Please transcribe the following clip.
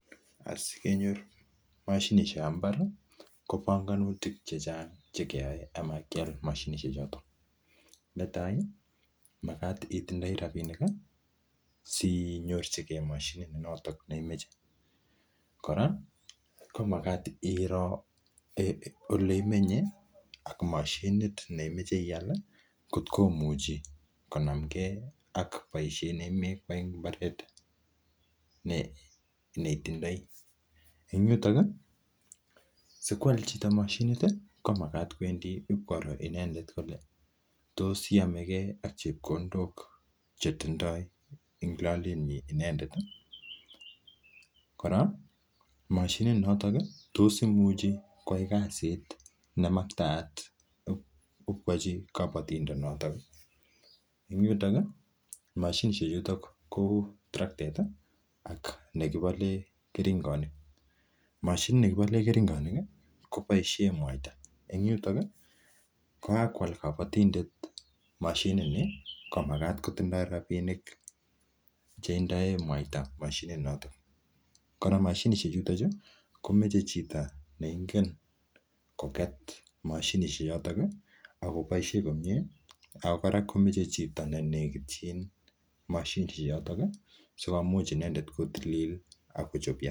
En komosuek cheisuldaen kabatisiet chebo minutik en kakmasuek chechang en emeetab Kenya ih. Kotindo ih anan kikochob baisietab banganutikab ih cheyae en nyorunetab ih mashinisiekab imbar. Kibakengeisiek chuton ih kotareti temik koker kole kaisuldaen icheket temisiet nyuan ih en oret ne nyalu. Kikonde icheket ih arorutik cheisubi anan cheker kole kanyorchike mashinisiek chebaisien en imbarenikuak ih choton ko cheuu terektaisiek cheboisoen en kabatisiet kikoyum icheket rabisiek en kurupisiek ak konam koal mashinisiek chebo imbarenik anan chekitemisien ak kora chekikesisien kurupisiekkab kibakenge kora kotareti kokachi temik cheboisoen en kabatisiet.